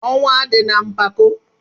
Ọnwụ adịna mpako!